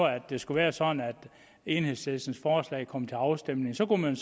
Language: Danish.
det skulle være sådan at enhedslistens forslag kom til afstemning så kunne man